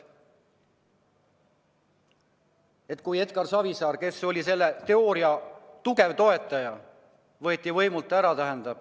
Edgar Savisaar, kes oli selle seisukoha tugev toetaja, võeti võimult ära ...